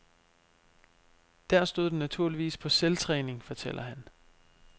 Der stod den naturligvis på selvtræning, fortæller han.